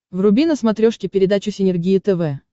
вруби на смотрешке передачу синергия тв